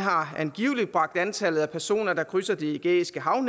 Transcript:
har den nedbragt antallet af personer der krydser det ægæiske hav